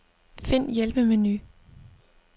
Find hjælpemenu.